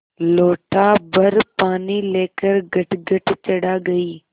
लोटाभर पानी लेकर गटगट चढ़ा गई